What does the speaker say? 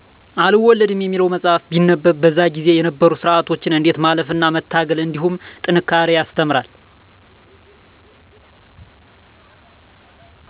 አልወለድም የሚለው መፃህፍት ቢነበብ በዛ ጊዜ የነበሩ ስርዓቶችን እንዴት ማለፍ እና መታገል እንድሁም ጥንካሬ ያስተምራል።